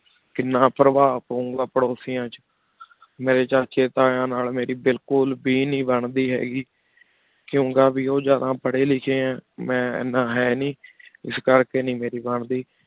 ਕੀਨਾ ਪੇਰ੍ਵਾ ਪਾਉ ਗਾ ਪਾਰੁਸਿਯਨ ਚ ਮੇਰੀ ਚਾਚੀ ਤੀਨ ਨਾਲ ਮੇਰੀ ਬਿਲਕੁਲ ਬੇ ਨੀ ਬੰਦੀ ਹੈਂ ਗੀ ਕੁੰ ਕੀ ਬੇ ਉਜਾੜਾ ਪਰੀ ਲਿਖੀ ਹੈਂ ਮੈਂ ਏਨਾ ਹੈਂ ਨੀ ਇਸ ਕਰ ਕੀ ਨੀ ਮੇਰੀ ਬੰਦੀ